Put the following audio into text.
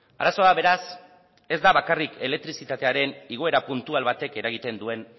arazoa beraz ez da bakarrik elektrizitatearen igoera puntual batek eragiten duen